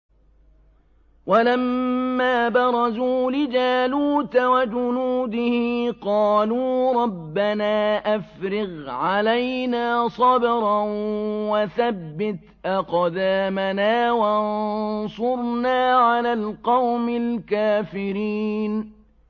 وَلَمَّا بَرَزُوا لِجَالُوتَ وَجُنُودِهِ قَالُوا رَبَّنَا أَفْرِغْ عَلَيْنَا صَبْرًا وَثَبِّتْ أَقْدَامَنَا وَانصُرْنَا عَلَى الْقَوْمِ الْكَافِرِينَ